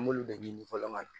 An b'olu de ɲini fɔlɔ ka na